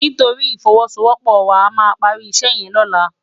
Nitóri ifòwòsówòpò wá àmá pàri isè yèn lòlá